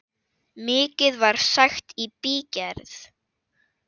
Mikið var sagt í bígerð.